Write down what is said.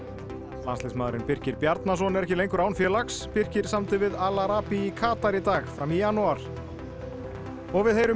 landsliðsmaðurinn Birkir Bjarnason er ekki lengur án félags Birkir samdi við Al í Katar í dag fram í janúar og við heyrum í